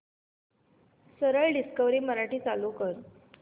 सरळ डिस्कवरी मराठी चालू कर